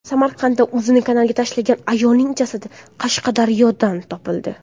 Samarqandda o‘zini kanalga tashlagan ayolning jasadi Qashqadaryodan topildi.